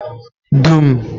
dum